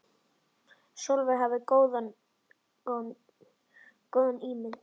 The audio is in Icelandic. Sólveig hafði svo góða ímynd.